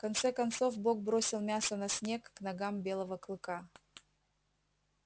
в конце концов бог бросил мясо на снег к ногам белого клыка